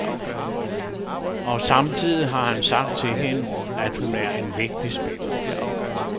Og samtidig har han sagt til hende, at hun er en vigtig spiller.